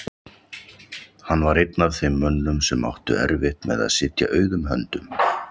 Hann var einn af þeim mönnum sem áttu erfitt með að sitja auðum höndum.